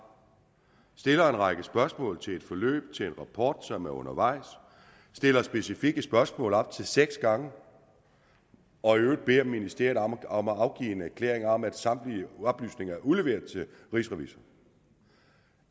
stiller en række spørgsmål til et forløb til en rapport som er undervejs stiller specifikke spørgsmål op til seks gange og i øvrigt beder ministeriet om om at afgive en erklæring om at samtlige oplysninger er udleveret til rigsrevisor